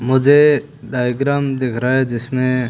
मुझे डायग्राम दिख रहा है जिसमें--